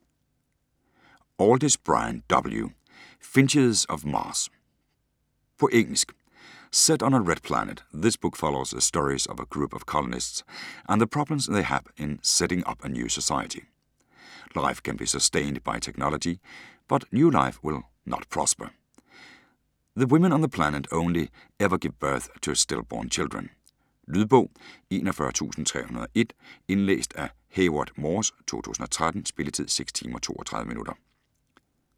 Aldiss, Brian W.: Finches of Mars På engelsk. Set on the Red Planet, this book follows the stories of a group of colonists and the problems they have in setting up a new society. Life can be sustained by technology but new life will not prosper - the woman on the planet only ever give birth to stillborn children. Lydbog 41301 Indlæst af Hayward Morse, 2013. Spilletid: 6 timer, 32 minutter.